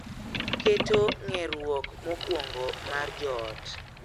Keto ng'eruok mokwongo mar joot.